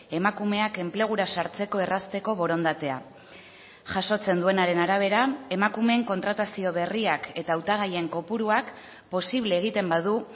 emakumeak enplegura sartzeko errazteko borondatea jasotzen duenaren arabera emakumeen kontratazio berriak eta hautagaien kopuruak posible egiten badu